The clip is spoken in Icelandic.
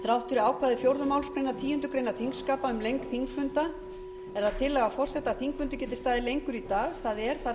þrátt fyrir ákvæði fjórðu málsgreinar tíundu greinar þingskapa um lengd þingfunda er það tillaga forseta að þingfundur geti staðið lengur í dag það